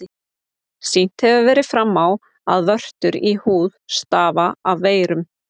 Sýnt hefur verið fram á, að vörtur í húð stafa af veirum.